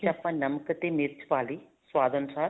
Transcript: ਆਪਾਂ ਨਮਕ ਤੇ ਮਿਰਚ ਪਾ ਲਈ ਸੁਆਦ ਅਨੁਸਾਰ